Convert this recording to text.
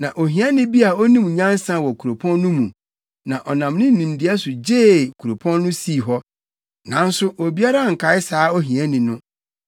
Na ohiani bi a onim nyansa wɔ kuropɔn no mu, na ɔnam ne nimdeɛ so gyee kuropɔn no sii hɔ. Nanso obiara ankae saa ohiani no.